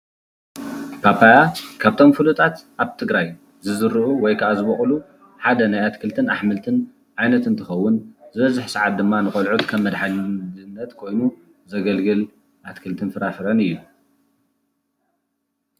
ፓፓያ ካብቶም ፉሉጣት ኣብ ትግራይ ዝዝርኡ ወይ ከኣ ዝበቁሉ ሓደ ናይ ኣትክልትን ኣሕምትን ዓይነት እንትከውን ዝበዝሕ ሰዓት ድማ ንቆልዑት ከም መድሓኒት ኮይኑ ዘገልግል ኣትክልት ፍራፍረን እዩ።